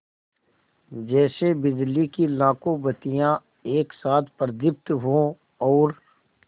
जैसे बिजली की लाखों बत्तियाँ एक साथ प्रदीप्त हों और